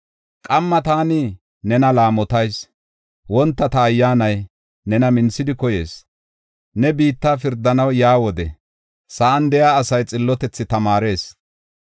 Qamma taani nena laamotas; wonta ta ayyaanay nena minthidi koyees. Ne biitta pirdanaw yaa wode, sa7an de7iya asay xillotethi tamaarees.